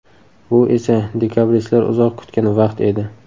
Bu esa dekabristlar uzoq kutgan vaqt edi.